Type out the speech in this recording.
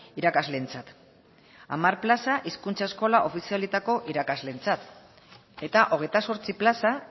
irakasleentzat hamar plaza hizkuntza eskola ofizialetako irakasleentzat eta hogeita zortzi plaza